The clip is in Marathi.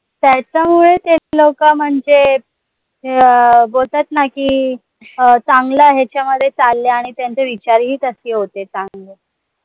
त्याच्यामुळे ते लोक म्हनजे अं बोलतात ना की, अं चांगल्या ह्यांच्यामध्ये चाललंय आणि त्यांचे विचारही तसे होते. चांगले